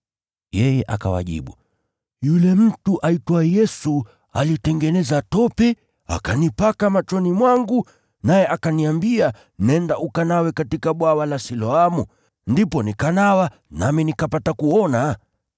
Yeye akawajibu, “Yule mtu aitwaye Yesu alitengeneza tope, akanipaka machoni mwangu, naye akaniambia nenda ukanawe katika Bwawa la Siloamu, ndipo nikanawa nami nikapata kuona!”